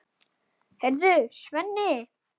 Heyrðu, Svenni!